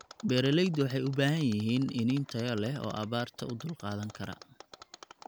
Beeralaydu waxay u baahan yihiin iniin tayo leh oo abaarta u dulqaadan kara.